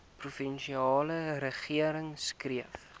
provinsiale regering streef